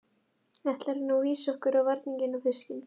Ætlarðu nú vísa okkur á varninginn og fiskinn?